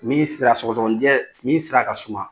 Min sira sɔgɔsɔgɔnijɛ, min sira ka suma.